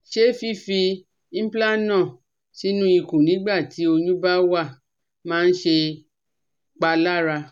Ṣé fífi Implanon sínú ikùn nígbà tí oyún bá wà máa ń ṣèpalára?